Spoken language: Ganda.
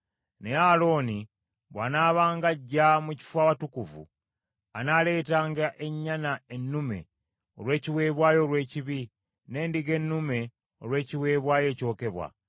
Naye Alooni bw’anaabanga ajja mu kifo Awatukuvu anaaleetanga ennyana ennume olw’ekiweebwayo olw’ekibi, n’endiga ennume olw’ekiweebwayo ekyokebwa.